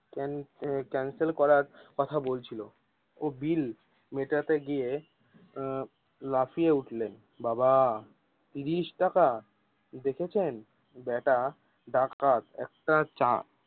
ক্যানিস cancel করার কথা বলছিলো ও বিল মিটাতে গিয়ে এ আহ লাফিয়ে উঠলেন বাবা তিরিশ টাকা দেখছেন বেটা ডাকাত একটা চা